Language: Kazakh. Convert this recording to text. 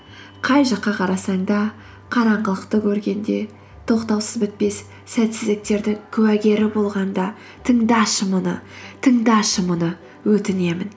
қай жаққа қарасаң да қараңғылықты көргенде тоқтаусыз бітпес сәтсіздіктердің куәгері болғанда тыңдашы мұны тыңдашы мұны өтінемін